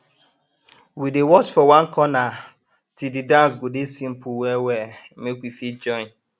we dey watch for one corner till de dance go dey simple well well make we fit join